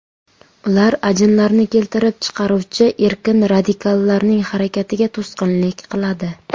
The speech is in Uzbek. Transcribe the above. Ular ajinlarni keltirib chiqaruvchi erkin radikallarning harakatiga to‘sqinlik qiladi.